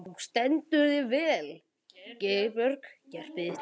Þú stendur þig vel, Geirbjörg!